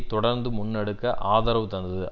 தொடர்ந்து முன்னெடுக்க ஆதரவு தந்தது